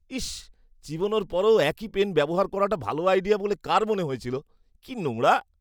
ইশ্! চিবানোর পরেও একই পেন ব্যবহার করাটা ভালো আইডিয়া বলে কার মনে হয়েছিল? কী নোংরা!